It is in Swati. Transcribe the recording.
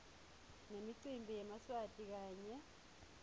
nemicimbi yemaswati kanye